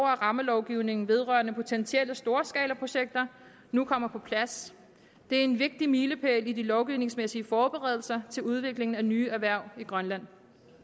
at rammelovgivningen vedrørende potentielle storskalaprojekter nu kommer på plads det er en vigtig milepæl i de lovgivningsmæssige forberedelser til udviklingen af nye erhverv i grønland